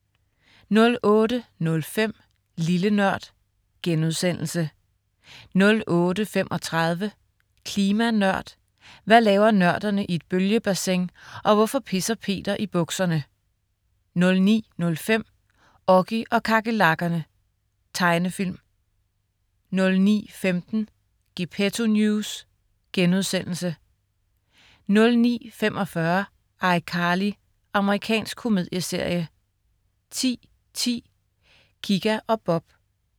08.05 Lille Nørd* 08.35 Klima Nørd. Hvad laver nørderne i et bølgebassin, og hvorfor pisser Peter i bukserne? 09.05 Oggy og kakerlakkerne. Tegnefilm 09.15 Gepetto News* 09.45 iCarly. Amerikansk komedieserie 10.10 Kika og Bob